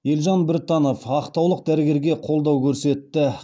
елжан біртанов ақтаулық дәрігерге қолдау көрсетті